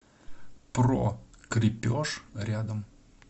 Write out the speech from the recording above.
про крепеж рядом